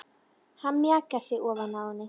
Hann mjakar sér ofan á henni.